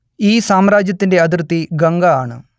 ഈ സാമ്രാജ്യത്തിന്റെ അതിർത്തി ഗംഗ ആണ്